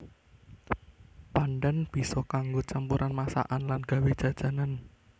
Pandhan bisa kanggo campuran masakan lan nggawé jajanan